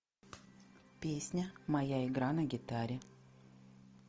песня моя игра на гитаре